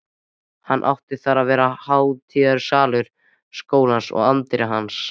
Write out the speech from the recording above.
Átti þar að vera hátíðasalur skólans og anddyri hans.